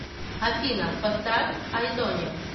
афина поставь айдония